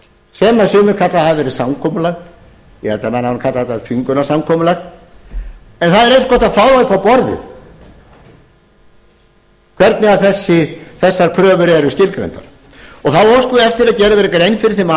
sem sumir kalla að hafi verið samkomulag ég held að menn hafi nú kallað þetta þvingunarsamkomulag en það er eins gott að fá upp á borðið hvernig þessar kröfur eru skilgreindar óskað er eftir að gerð verði grein fyrir þeim atriðum